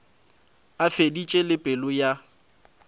a feditše le pelo ya